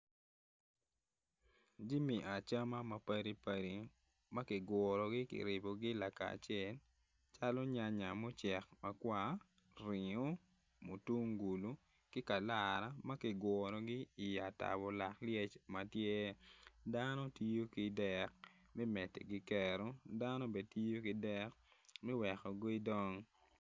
Jami acama mapadipadi ma kigurogi kiribogi lakacel calo nyanya mucek makwar ringo, mutungulu ki kalara ma kigurogi i atabo lak lyec ma tye dano tiyo ki dek medigi kero dano bene tiyo ki dek me weko gidong.